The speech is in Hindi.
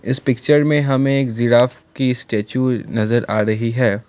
इस पिक्चर में हमें एक जिराफ की स्टेचू नजर आ रही है।